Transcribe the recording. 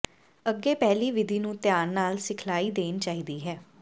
ਅੱਗੇ ਪਹਿਲੀ ਵਿਧੀ ਨੂੰ ਧਿਆਨ ਨਾਲ ਸਿਖਲਾਈ ਦੇਣੀ ਚਾਹੀਦੀ ਹੈ